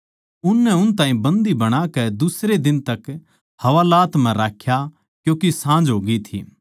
उननै उन ताहीं बन्दी बणाकै दुसरे दिन तक हवालात म्ह राख्या क्यूँके साँझ होग्यी थी